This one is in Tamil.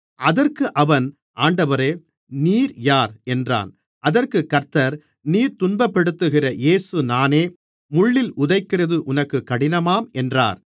அதற்கு அவன் ஆண்டவரே நீர் யார் என்றான் அதற்குக் கர்த்தர் நீ துன்பப்படுத்துகிற இயேசு நானே முள்ளில் உதைக்கிறது உனக்குக் கடினமாம் என்றார்